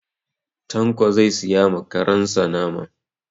Tanko zai siya ma karen sa nama.